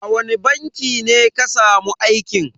A wani banki ne ka samu aikin?